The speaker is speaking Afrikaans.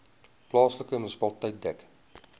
plaaslike munisipaliteit dek